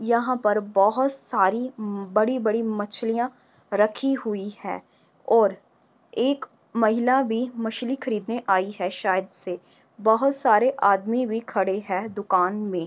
यहाँ पर बहुत सारी म बड़ी-बड़ी मछलियाँ रखी हुई हैं और एक महिला भी मछली खरीदने आई है शायद से। बहोत सारे आदमी भी खड़े हैं दुकान में।